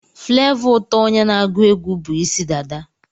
Flavour ụtọ onye na-agwuegwu bu Ịsị dada.